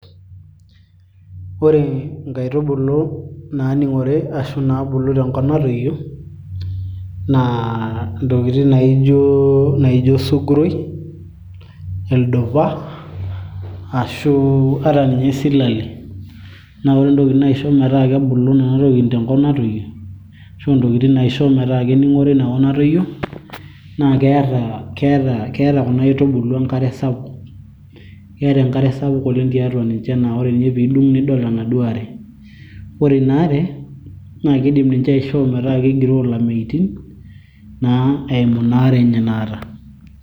ore inkaitubulu naaning'ore ashu inaabulu tenkop natoyio naa intokitin naijo, naijo osuguroi, ildupa ashu ata ninye isilale naa ore entoki naisho metaa kebulu nena tokitin tenkop natoyio ashu intokitin naisho metaa kening'ore inakop natoyio naa keeta, keeta kuna aitubulu enkare sapuk keeta enkare sapuk oleng tiatua ninche naa ore ninye tenidung nidol enaduo are ore ina are naa kidim aishoo ninche metaa kegiroo ilameitin naa eimu ina are enye naata.